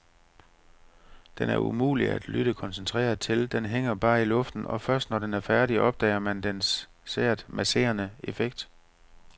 Den er umulig at lytte koncentreret til, den hænger bare i luften og først når den er færdig, opdager man dens sært masserende effekt.